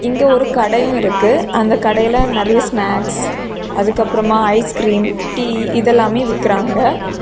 இங்கே ஒரு கடையு இருக்கு அந்த கடையில நெறைய ஸ்னாக்ஸ் அதுக்கு அப்ரமா ஐஸ் கிரீம் டீ இதெல்லாமே விக்கிறாங்க.